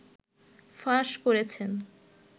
ফাঁস করেছেন